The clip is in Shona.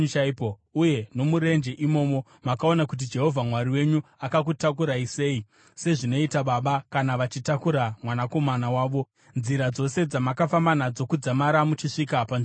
uye nomurenje. Imomo makaona kuti Jehovha Mwari wenyu akakutakurai sei, sezvinoita baba kana vachitakura mwanakomana wavo, nzira dzose dzamakafamba nadzo kudzamara muchisvika panzvimbo ino.”